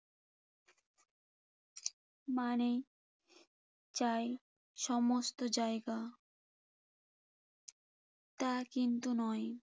মানেই চাই সমস্ত জায়গা। তা কিন্তু নয়।